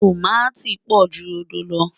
tọ̀máti pò jù rodò ló